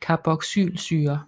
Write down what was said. carboxylsyre